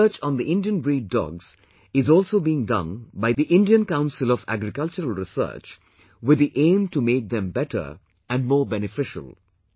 Research on the Indian breed dogs is also being done by the Indian Council of Agriculture Research with the aim to make them better and more beneficial